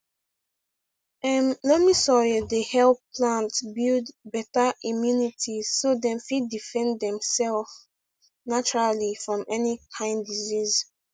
um loamy soil dey help plant build beta immunity so dem fit defend dem self naturally from any kain disease